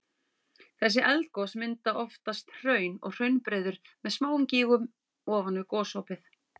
Þessi eldgos mynda oftast hraun og hraunbreiður með smáum gígum ofan við gosopið.